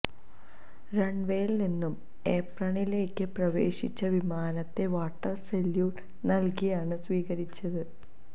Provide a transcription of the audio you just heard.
റണ്വേയില് നിന്ന് ഏപ്രണിലേക്ക് പ്രവേശിച്ച വിമാനത്തെ വാട്ടര് സല്യൂട്ട് നല്കിയാണ് സ്വീകരിച്ചത്